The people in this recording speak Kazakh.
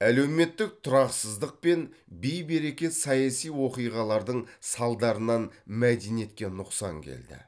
әлеуметтік тұрақсыздық пен бей берекет саяси оқиғалардың салдарынан мәдениетке нұқсан келді